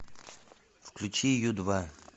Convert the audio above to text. включи ю два